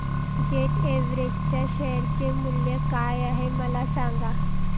jet Airways च्या share चे मूल्य काय आहे मला सांगा